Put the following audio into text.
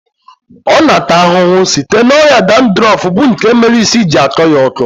Ọ na ata ahụhụ site na ọrịa dandrọfu bụ nke mere isi ji akọ ya ọkọ